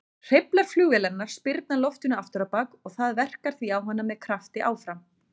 Hreyflar flugvélarinnar spyrna loftinu afturábak og það verkar því á hana með krafti áfram.